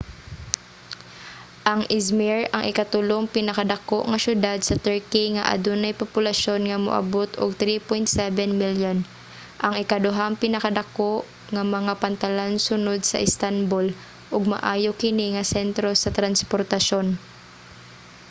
ang izmir ang ikatulong pinakadako nga siyudad sa turkey nga adunay populasyon nga moabot og 3.7 milyon ang ikaduhang pinakadako nga mga pantalan sunod sa istanbul ug maayo kini nga sentro sa transportasyon